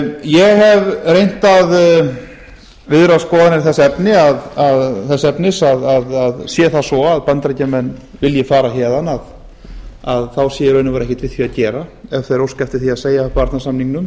ég hef reynt að viðra skoðanir þess efnis að sé það svo að bandaríkjamenn vilji fara héðan þá sé í raun og veru ekkert við því að gera ef þeir óska eftir því að segja upp varnarsamningnum